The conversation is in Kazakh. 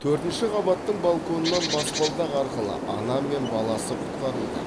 төртінші қабаттың балконынан баспалдақ арқылы ана мен баласы құтқарылды